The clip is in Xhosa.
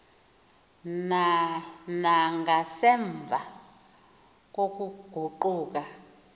na nangasemva kokuguquka